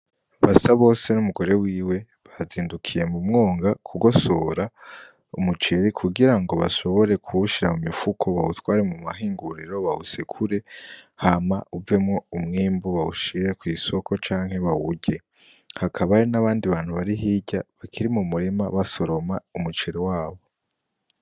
Basabose n'umugore wiwe bazindukiye mu mwonga kugosora umuceri kugira ngo bashobore kuwushira mu mifuko bawutware mu mahinguriro, bawusekure hama uvemwo umwimbu bawushire kw'isoko canke bawurye. Hakaba hari n'abandi bantu bari hirya bakiri mu murima basoroma umuceri wabo.